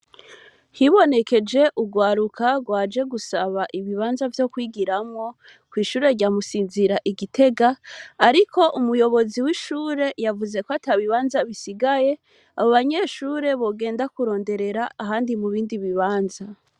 Hibonekeje urwaruka rwanje gusaba ibibanza vyo kwigiramwo, kw' ishure rya Musinzira i Gitega, ariko umuyobozi w' ishure yavuze ko atabibanza bisigaye, abo banyeshure bogenda kuronderera ahandi mu bindi bibanza.